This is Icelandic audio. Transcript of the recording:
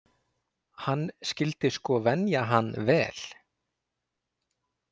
Hann skyldi sko venja hann vel.